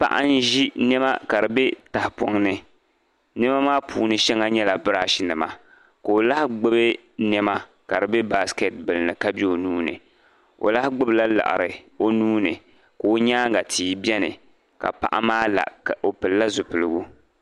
Paɣa n-ʒi niɛma ka di bɛ tahipɔŋ ni. Niɛma maa puuni shɛŋa nyɛla brushnima ko'lahi gbubi niɛma, ka di bɛ basket ni ka bɛ o nuu ni. O lahi gbubi la laɣiri o nuu ni ka o nyaaŋa tii biɛni. O pili la zupilgu.